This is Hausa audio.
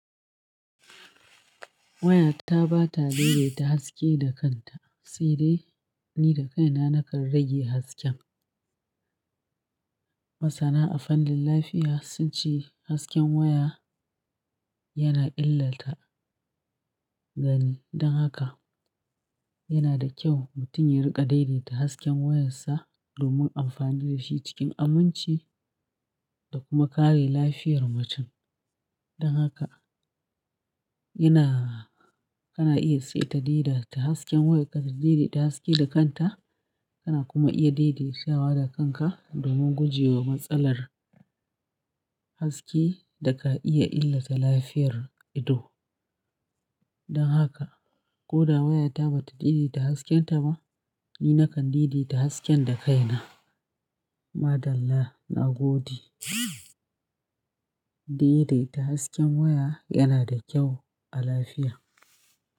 Waya ta ba ta daidaita haske da kanta sai dai ni da kaina na kan rage hasken. Masana a fannin lafiya sun ce hasken waya yana illata gani. Don haka yana da kyau mutum ya riƙa daidaita hasken wayarsa domin amfanin da shi cikin aminci da kuma kare lafiyar mutum. Don haka yana, kana iya sayar daidaita hasken wayarka da daidaita haske da kanta. Kana kuma iya daidaitawa da kanka domin guje wa matsalar haske da ka iya illata lafiyar ido. Don haka ko da wayata bata daidaita haskenta ba, ni nakan daidaita hasken da kaina. Madalla na gode. Daidaita hasken waya yana da kyau a lafiya.